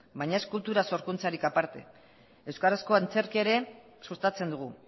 baina ez kultura sorkuntzatik aparte euskarazko antzerkia ere sustatzen dugu